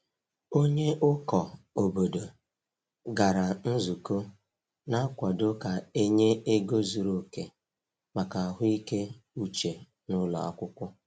Onye ụkọ obodo gara nzukọ na-akwado ka e nye ego zuru oke maka ahụike uche n’ụlọ akwụkwọ.